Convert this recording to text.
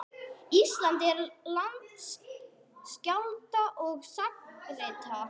Ísland er land skálda og sagnaritara.